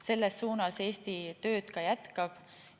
Selles suunas Eesti tööd ka jätkab.